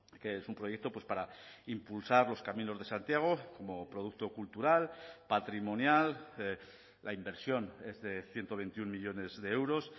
que es un proyecto para impulsar los caminos de santiago como producto cultural patrimonial la inversión es de ciento veintiuno millónes de euros